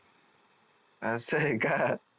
अस आहे का